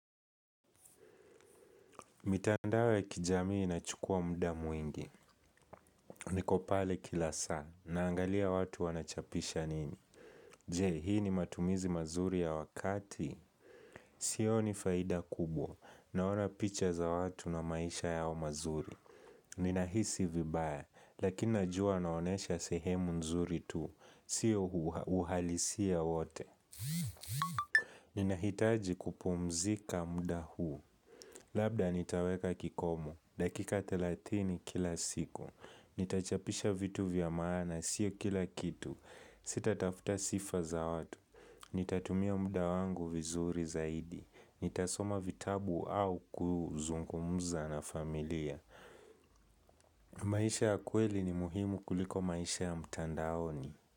Mitandao ya kijamii inachukua muda mwingi, niko pale kila saa, naangalia watu wanachapisha nini. Je, hii ni matumizi mazuri ya wakati. Sioni faida kubwa, naona picha za watu na maisha yao mazuri. Ninahisi vibaya, lakini najua naonesha sehemu nzuri tu, siyo uhalisia wote. Ninahitaji kupumzika muda huu. Labda nitaweka kikomu. Dakika thelathini kila siku. Nitachapisha vitu vya maana siyo kila kitu. Sitatafuta sifa za watu. Nitatumia muda wangu vizuri zaidi. Nitasoma vitabu au kuzungumza na familia. Maisha ya kweli ni muhimu kuliko maisha ya mtandaoni.